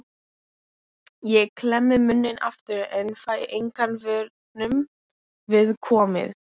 Lóa-Lóa tók Moggann sem amma hafði verið að lesa.